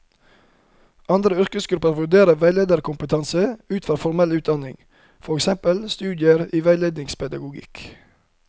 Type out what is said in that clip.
Andre yrkesgrupper vurderer veilederkompetanse ut fra formell utdanning, for eksempel studier i veiledningspedagogikk.